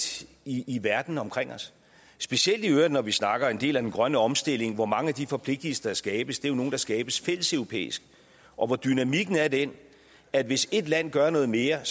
i i verden omkring os specielt i øvrigt når vi snakker en del af den grønne omstilling hvor mange af de forpligtelser der skabes jo er nogle der skabes fælleseuropæisk og hvor dynamikken er den at hvis ét land gør noget mere